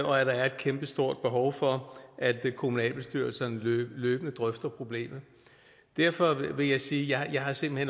og at der er et kæmpestort behov for at kommunalbestyrelserne løbende drøfter problemet derfor vil jeg sige at jeg simpelt